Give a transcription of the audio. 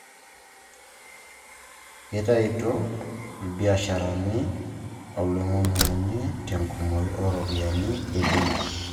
Keitayutuo ilbiasharani oloing'uny'ung'uny'I te enkumoi ooropiyiani embenki